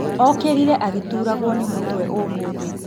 Okĩrire agĩturagwo nĩ mtwe ũmũthĩ